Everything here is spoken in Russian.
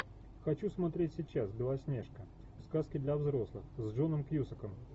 хочу смотреть сейчас белоснежка сказки для взрослых с джоном кьюсаком